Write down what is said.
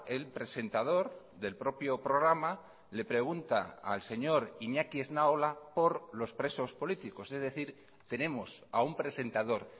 el presentador del propio programa le pregunta al señor iñaki esnaola por los presos políticos es decir tenemos a un presentador